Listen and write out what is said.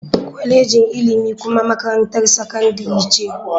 Kwalejin ilimi kuma makarantar sakandare ce.